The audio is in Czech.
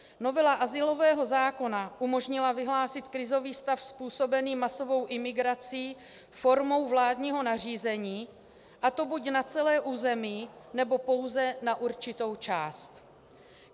Novela azylového zákona umožnila vyhlásit krizový stav způsobený masovou imigrací formou vládního nařízení, a to buď na celé území, nebo pouze na určitou část.